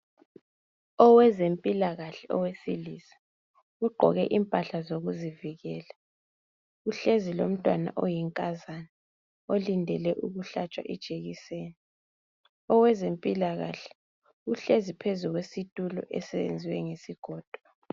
Okwezempilakahle owesilisa ugqoke impahla zokuzivikela uhlezi lomntwana oyinkazana olindele ukuhlatshwa ijekiseni. Okwezempilakahle uhlezi phezulu kwesitulo esenziwe ngesigodo.